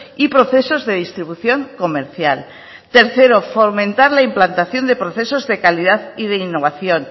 y procesos de distribución comercial tercero fomentar la implantación de procesos de calidad y de innovación